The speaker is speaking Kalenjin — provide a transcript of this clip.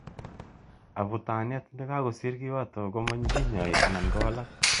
Abutaniet ne kako sir kiwato koma kinyai ana kowalak.